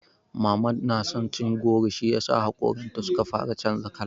Mama na son cin goro shiyasa haƙoranta suka fara canza kala.